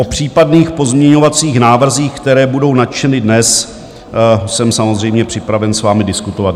O případných pozměňovacích návrzích, které budou načteny dnes, jsem samozřejmě připraven s vámi diskutovat.